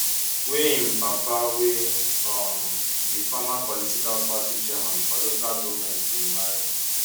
wey im papa wey um be former political party chairman for local goment bin marry